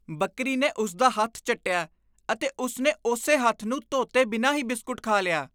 ਬੱਕਰੀ ਨੇ ਉਸ ਦਾ ਹੱਥ ਚੱਟਿਆ, ਅਤੇ ਉਸ ਨੇ ਉਸੇ ਹੱਥ ਨੂੰ ਧੋਤੇ ਬਿਨਾਂ ਹੀ ਬਿਸਕੁਟ ਖਾ ਲਿਆ।